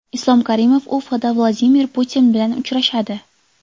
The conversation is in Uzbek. Islom Karimov Ufada Vladimir Putin bilan uchrashadi.